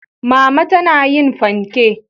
mama tana yin fanke.